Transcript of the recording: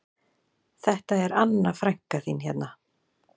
Þetta er Anna frænka þín hérna